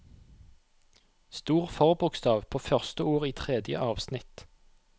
Stor forbokstav på første ord i tredje avsnitt